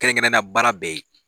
Kɛrɛnkɛrɛnna baara bɛɛ ye